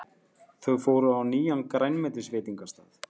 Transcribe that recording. Þau fóru á nýjan grænmetisveitingastað.